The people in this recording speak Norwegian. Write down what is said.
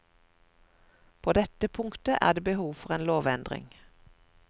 På dette punktet er det behov for en lovendring.